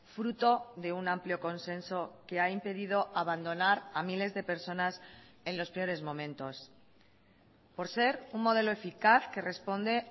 fruto de un amplio consenso que ha impedido abandonar a miles de personas en los peores momentos por ser un modelo eficaz que responde